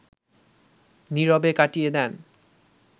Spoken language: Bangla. নীরবে কাটিয়ে দেন